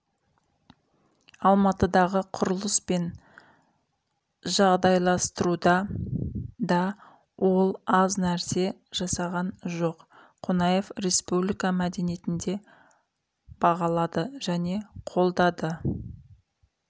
алматыдағы құрылыс пен жағдайластыруда да ол аз нәрсе жасаған жоқ қонаев республика мәдениетінде бағалады және қолдады